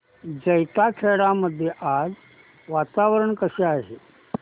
जैताखेडा मध्ये आज वातावरण कसे आहे